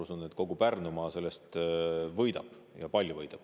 Ja ma usun, et kogu Pärnumaa sellest võidab, ja palju võidab.